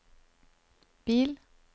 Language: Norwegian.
bil